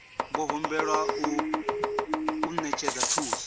vho humbelwa u ṅetshedza thuso